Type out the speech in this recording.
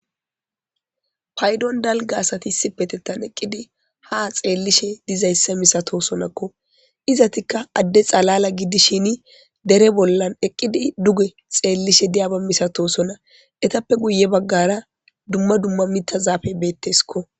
paydon dalga asati issipetettan eqqidi ha xeellishe dizayssa misatosonakko izatikka adde xalala gidishini dere bollan eqqidi duge xeellishe diyaba misatosona etappe guye baggara dumma dumma mita zaafey beetteskko